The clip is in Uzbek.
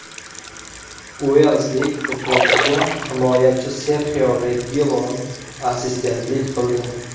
Uelslik futbolchiga himoyachi Serxio Regilon assistentlik qildi.